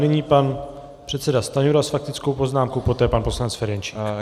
Nyní pan předseda Stanjura s faktickou poznámkou, poté pan poslanec Ferjenčík.